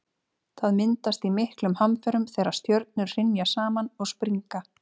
það myndast í miklum hamförum þegar stjörnur hrynja saman og springa